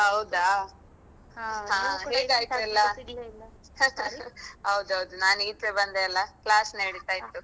ಹೌದಾ ಹೇಗೆ ಆಯ್ತು ಎಲ್ಲ ಹೌದೌದು ನಾನು ಈಚೆ ಬಂದೆ ಅಲಾ class ನಡಿತಾ ಇತ್ತು.